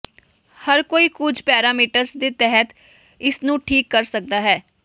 ਹਰ ਕੋਈ ਕੁਝ ਪੈਰਾਮੀਟਰ ਦੇ ਤਹਿਤ ਇਸ ਨੂੰ ਠੀਕ ਕਰ ਸਕਦਾ ਹੈ